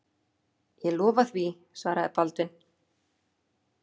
Ég lofa því, svaraði Baldvin.